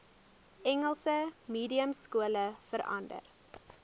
engels mediumskole verander